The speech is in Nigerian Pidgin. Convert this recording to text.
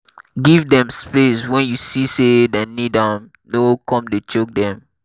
give dem space when you see sey dem need am no come dey choke dem